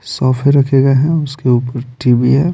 सोफे रखे गए हैं उसके ऊपर टी_वी है।